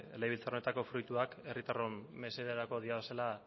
legebiltzar honetako fruituak herritarron mesederako direlako